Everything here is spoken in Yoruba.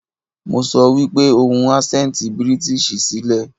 Mo sọ wípé ohun asẹnti British sí lẹ̀.